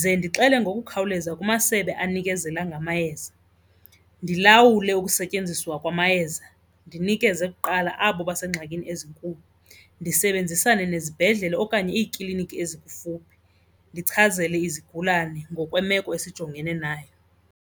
ze ndixele ngokukhawuleza kumasebe anikezela ngamayeza. Ndilawule ukusetyenziswa kwamayeza ndinikeze kuqala abo besengxakini ezinkulu. Ndisebenzisane nezibhedlele okanye iikliniki ezikufuphi ndichazele izigulane ngokwemeko esijongene nayo.